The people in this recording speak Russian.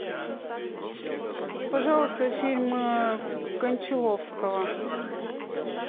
пожалуйста фильм кончаловского